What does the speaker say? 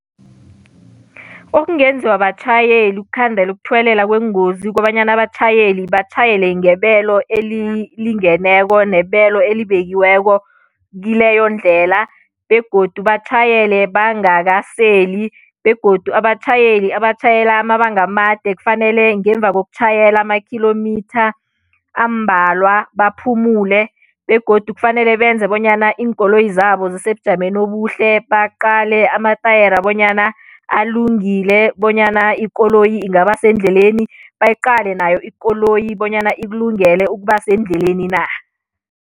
Okungenziwa batjhayeli ukukhandela ukuthuwelela kweengozi kukobanyana abatjhayeli batjhayele ngebelo elilingeneko nebelo elibekiweko kileyo ndlela, begodu batjhayele bangakaseli begodu abatjhayeli abatjhayela amabanga amade kufanele ngemva kokutjhayela ama-kilometre ambalwa baphumule, begodu kufanele benze bonyana iinkoloyi zabo zisebujameni obuhle, baqale amatayera bonyana alungile bonyana ikoloyi ingaba sendleleni, bayiqale nayo ikoloyi bonyana ikulungele ukuba sendleleni na.